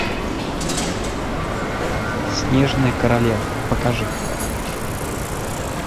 снежная королева покажи